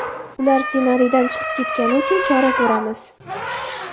Ular ssenariydan chiqib ketgani uchun chora ko‘ramiz.